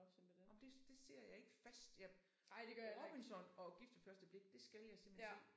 Ej men det det ser jeg ikke fast jeg Robinson og gift ved første blik det skal jeg simpelthen se